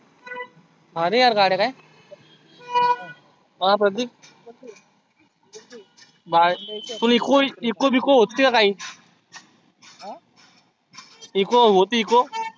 आल्या यार गाड्या काय अं प्रतीक बहेर ची Eco Eco बिको होती का काही? Eco होती Eco